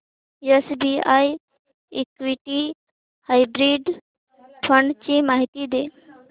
SBI equity hybrid fund ची माहिती दे